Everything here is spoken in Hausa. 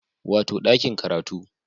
Wato ɗakin karatu